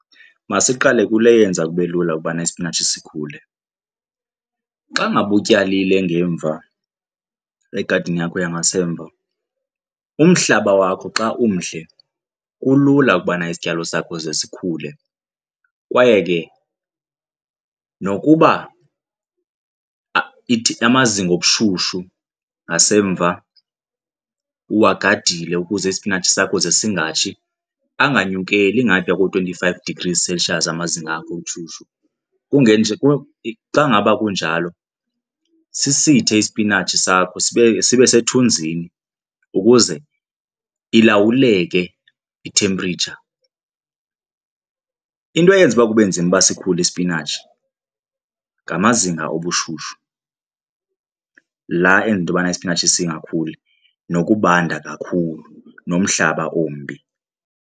Masiqale kule yenza kube lula ukubana ispinatshi sikhule. Xa ngaba utyalile ngemva, egadini yakho yangasemva umhlaba wakho xa umhle kulula ukubana isityalo sakho ze sikhule kwaye ke nokuba ithi amazinga obushushu ngasemva uwagadile ukuze isipinatshi sakho ze singatshi, anganyukeli ngaphaya ko- twenty-five degrees celsius amazinga akho obushushu kungenje, xa ngaba kunjalo sisithethe isipinatshi sakho sibe, sibe sethunzini ukuze ilawuleke i-temperature. Into eyenza ukuba kube nzima uba sikhule isipinatshi ngamazinga obushushu laa enza into yobana isipinatshi singakhuli nokubanda kakhulu nomhlaba ombi.